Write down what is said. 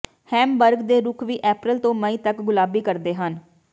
Hamburg ਦੇ ਰੁੱਖ ਵੀ ਅਪ੍ਰੈਲ ਤੋਂ ਮਈ ਤੱਕ ਗੁਲਾਬੀ ਕਰਦੇ ਹਨ